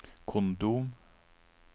kondom